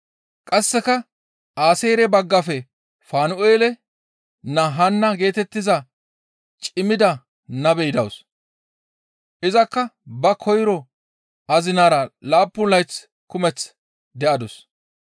Qasseka Aaseere baggafe Fanu7eele naa Haanna geetettiza cimmida nabey dawus; izakka ba koyro azinara laappun layth kumeth de7adus.